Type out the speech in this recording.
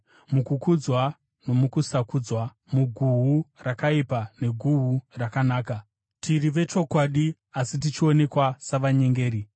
mukukudzwa nomukusakudzwa, muguhu rakaipa neguhu rakanaka; tiri vechokwadi, asi tichionekwa savanyengeri;